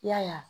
I y'a ye